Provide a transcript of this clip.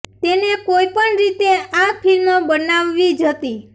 તેને કોઈ પણ રીતે આ ફિલ્મ બનાવવી જ હતી